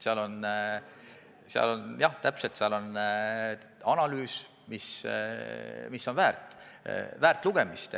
Seal on analüüs, mis on väärt lugemist.